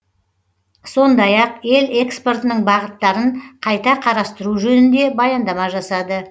сондай ақ ел экспортының бағыттарын қайта қарастыру жөнінде баяндама жасады